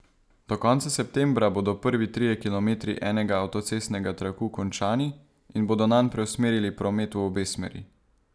Do konca septembra bodo prvi trije kilometri enega avtocestnega traku končani in bodo nanj preusmerili promet v obe smeri.